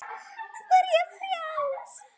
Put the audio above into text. Nú er ég frjáls!